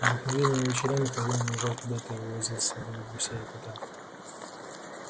обыкновенно вечерами хозяин уезжал куда-то и увозил с собою гуся и кота